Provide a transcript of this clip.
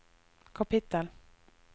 kapittel